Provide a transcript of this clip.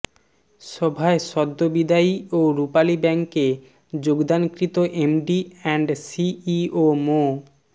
সভায় সদ্য বিদায়ী ও রূপালী ব্যাংকে যোগদানকৃত এমডি অ্যান্ড সিইও মো